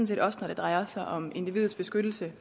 set også når det drejer sig om individets beskyttelse